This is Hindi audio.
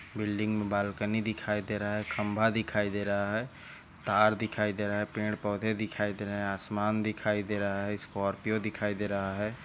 बिल्डिंग बाल्कनी दिखाई दे रहा है खम्बा दिखाई दे रहा है तार दिखाई दे रहा है पेड़ पौधे दिखाई दे रहा है आसमान दिखाई दे रहा है स्कॉर्पियो दिखाई दे रहा है।